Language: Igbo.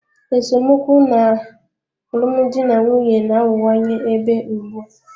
Esemokwu n'alụmdi na nwunye na-aghọwanye ebe ugbu a.